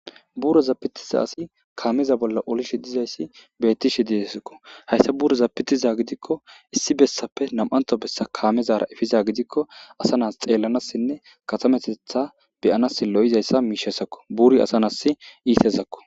buroza pitiza asi kaameza bolla olishe dizayssi beettishe dizesakko hayssa buro zapitiza gidikko issi bessappe nam7anto bessa kaamezara efiza gidikko asa nas xeellanassinne katametetha beyanas lo7izayssa miishesakko buri asanas iitezakko